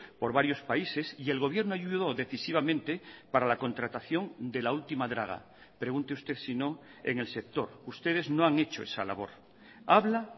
por varios países y el gobierno ayudó decisivamente para la contratación de la última draga pregunte usted sino en el sector ustedes no han hecho esa labor habla